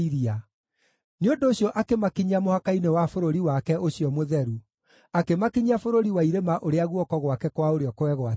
Nĩ ũndũ ũcio akĩmakinyia mũhaka-inĩ wa bũrũri wake ũcio mũtheru, akĩmakinyia bũrũri wa irĩma ũrĩa guoko gwake kwa ũrĩo kwegwatĩire.